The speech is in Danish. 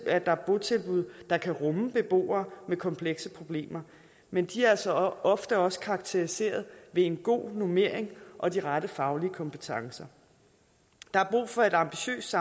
er botilbud der kan rumme beboere med komplekse problemer men de er altså ofte også karakteriseret ved en god normering og de rette faglige kompetencer der er brug for et ambitiøst